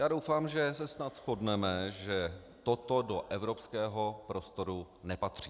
Já doufám, že se snad shodneme, že toto do evropského prostoru nepatří.